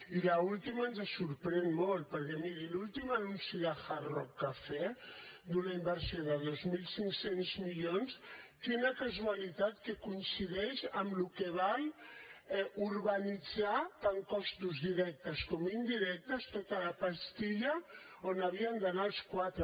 i l’última ens sorprèn molt perquè miri l’últim anunci de hard rock cafe d’una inversió de dos mil cinc cents milions quina casualitat que coincideix amb el que val urbanitzar tant costos directes com indirectes tota la pastilla on havien d’anar els quatre